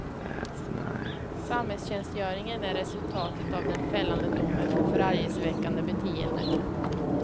Samhällstjänstgöringen är resultatet av den fällande domen för förargelseväckande beteende.